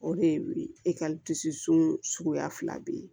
O de ye e ka dusu sunya fila be yen